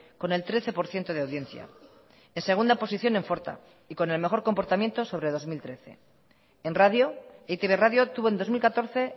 con el trece por ciento de audiencia en segunda posición en forta y con el mejor comportamiento sobre dos mil trece en radio e i te be radio tuvo en dos mil catorce